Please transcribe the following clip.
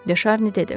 Deşarni dedi.